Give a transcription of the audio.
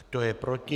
Kdo je proti?